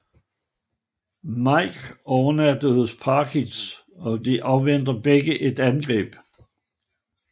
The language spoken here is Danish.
Mick overnatter hos Parkins og de afventer begge et angreb